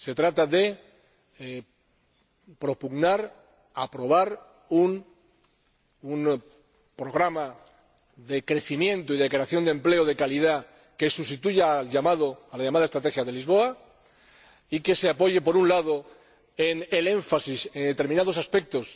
Se trata de propugnar, aprobar, un programa de crecimiento y de creación de empleo de calidad que sustituya a la llamada Estrategia de Lisboa y que se apoye, por un lado, en el énfasis en determinados aspectos,